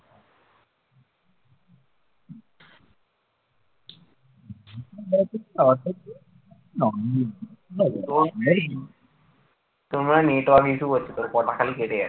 তোর মনে হয় network issue করছে তোর কথা খালি কেটে যাচ্ছে